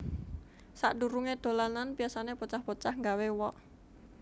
Sak durunge dolanan biasane bocah bocah nggawé wok